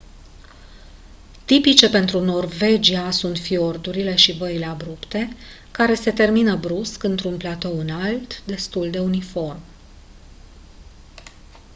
tipice pentru norvagia sunt fiordurile și văile abrupte care se termină brusc într-un platou înalt destul de uniform